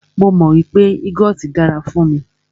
Mó mọ wípé yúgọọ́ti dára fún mí.